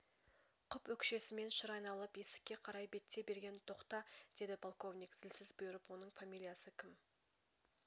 құп өкшесімен шыр айналып есікке қарай беттей берген тоқта деді полковник зілсіз бұйрып оның фамилиясы ккм